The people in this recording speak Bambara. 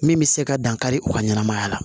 Min bɛ se ka dankari u ka ɲɛnɛmaya la